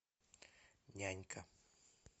нянька